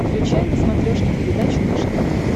включай на смотрешке передачу наше тв